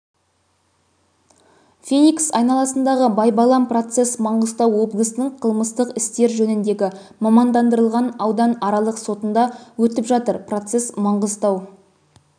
феникс айналасындағы байбалам процесс маңғыстау облысының қылмыстық істер жөніндегі мамандандырылған ауданаралық сотында өтіп жатыр процесс маңғыстау